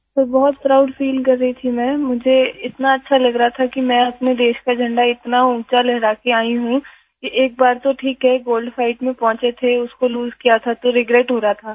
प्रगति sir बहुत proud feel कर रही थी मैं मुझे इतना अच्छा लग रहा था कि मैं अपने देश का झंडा इतना ऊँचा लहरा के आई हूँ कि एक बार तो ठीक है कि गोल्ड फाइट में पहुंचे थे उसको लोसे किया था तो रिग्रेट हो रहा था